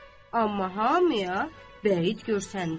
Amma hamıya vəyid görsəndi.